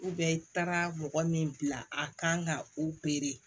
i taara mɔgɔ min bila a kan ka